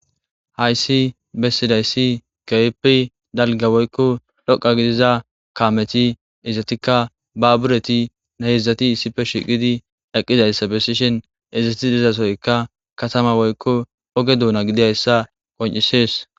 hayssi bessidayssi keypi dalga woykko dhoqa gidiza kaameti izatikka babureti nahyizdzati issife shiqidi eqqizayssa besishen izati izasoyka katama woykko oge duuna gidiayssa qon7isees